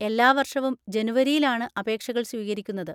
എല്ലാ വർഷവും ജനുവരിയിലാണ് അപേക്ഷകൾ സ്വീകരിക്കുന്നത്.